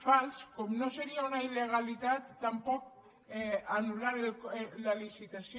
fals com no seria una illegalitat tampoc anul·lar la licitació